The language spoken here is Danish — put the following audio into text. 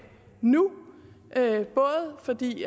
nu fordi